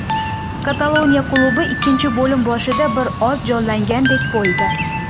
Kataloniya klubi ikkinchi bo‘lim boshida bir oz jonlangandek bo‘ldi.